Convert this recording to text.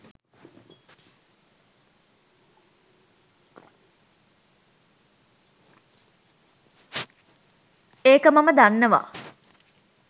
එක මම දන්නවා